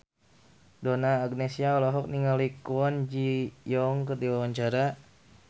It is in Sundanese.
Donna Agnesia olohok ningali Kwon Ji Yong keur diwawancara